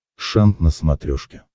шант на смотрешке